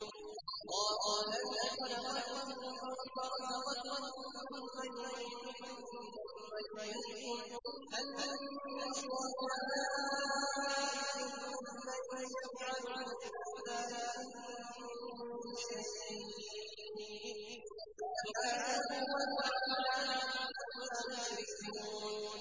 اللَّهُ الَّذِي خَلَقَكُمْ ثُمَّ رَزَقَكُمْ ثُمَّ يُمِيتُكُمْ ثُمَّ يُحْيِيكُمْ ۖ هَلْ مِن شُرَكَائِكُم مَّن يَفْعَلُ مِن ذَٰلِكُم مِّن شَيْءٍ ۚ سُبْحَانَهُ وَتَعَالَىٰ عَمَّا يُشْرِكُونَ